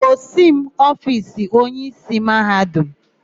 Gosi m ofiisi onyeísí Mahadum!